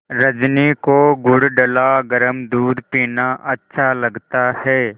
रजनी को गुड़ डला गरम दूध पीना अच्छा लगता है